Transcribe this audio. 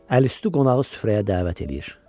Əl-üstü qonağı süfrəyə dəvət eləyir.